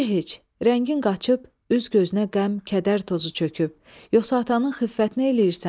Necə heç, rəngin qaçıb, üz-gözünə qəm, kədər tozu çöküb, yoxsa atanın xiffətin eləyirsən?